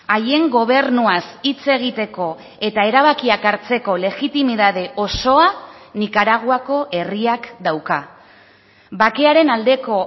haien gobernuaz hitz egiteko eta erabakiak hartzeko legitimitate osoa nikaraguako herriak dauka bakearen aldeko